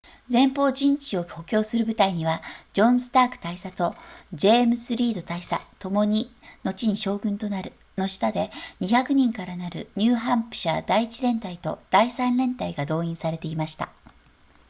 前方陣地を補強する部隊にはジョンスターク大佐とジェームズリード大佐ともに後に将軍となるの下で200人からなるニューハンプシャー第1連隊と第3連隊が動員されていました